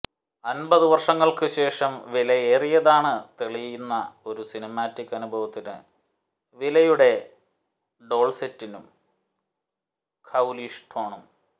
അൻപതു വർഷങ്ങൾക്കുശേഷം വിലയേറിയതാണ് തെളിയിക്കുന്ന ഒരു സിനിമാറ്റിക് അനുഭവത്തിന് വിലയുടെ ഡോൾസെറ്റിനും ഘൌലിഷ് ടോണും